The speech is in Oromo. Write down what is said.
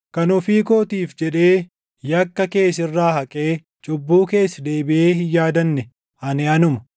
“Kan ofii kootiif jedhee yakka kee sirraa haqee cubbuu kees deebiʼee hin yaadanne, ani anuma.